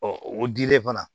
o dilen fana